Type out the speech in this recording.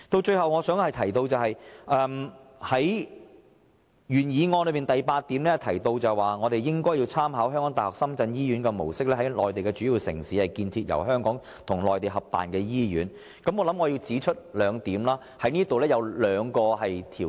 最後，關於原議案第八項建議，"參考香港大學深圳醫院的模式，在內地主要城市建設由香港及內地合辦的醫院"，我想指出這當中涉及兩個條件。